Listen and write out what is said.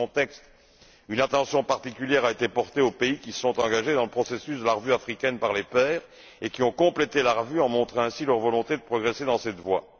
Dans ce contexte, une attention particulière a été portée aux pays qui se sont engagés dans le processus de la revue africaine par les pairs et qui ont complété la revue en montrant ainsi leur volonté de progresser dans cette voie.